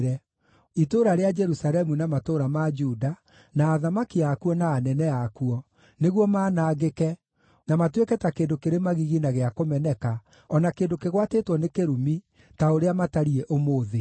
itũũra rĩa Jerusalemu na matũũra ma Juda, na athamaki akuo na anene akuo, nĩguo manangĩke, na matuĩke ta kĩndũ kĩrĩ magigi na gĩa kũmeneka, o na kĩndũ kĩgwatĩtwo nĩ kĩrumi, ta ũrĩa matariĩ ũmũthĩ;